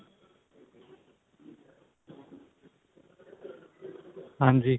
ਹਾਂਜੀ